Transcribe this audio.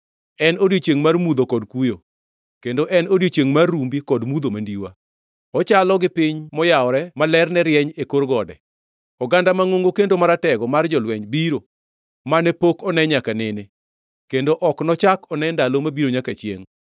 En odiechiengʼ mar mudho kod kuyo, kendo en odiechieng mar rumbi kod mudho mandiwa. Ochalo gi piny moyawore ma lerne rieny e kor gode; oganda mangʼongo kendo maratego mar jolweny biro, mane pok one nyaka nene, kendo ok nochak one ndalo mabiro nyaka chiengʼ.